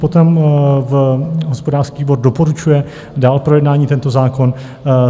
Potom hospodářský výbor doporučuje dál k projednání tento zákon.